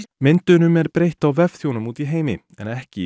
myndunum er breytt á vefþjónum úti í heimi en ekki í